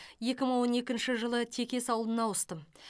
екі мың он екінші жылы текес ауылына ауыстым